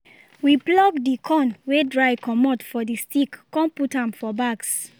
we pluck the corn wey dry comot for the stick con put am for bags